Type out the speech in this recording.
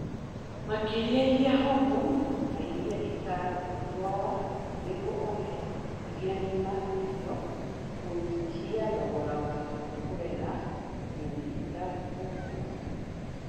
Makeria iria homu na iria itangĩtwara nĩguo ũhe iria ng'ima irio kũnyihia thogora wa kũrera nyoni itagũkũra